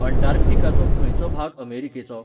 अंटार्क्टिकाचो खंयचो भाग अमेरिकेचो ?